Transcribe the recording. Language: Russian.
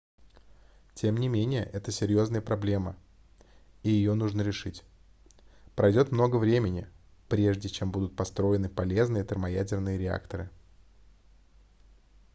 тем не менее это серьезная проблема и ее нужно решить пройдет много времени прежде чем будут построены полезные термоядерные реакторы